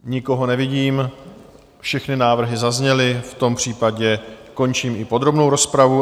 Nikoho nevidím, všechny návrhy zazněly, v tom případě končím i podrobnou rozpravu.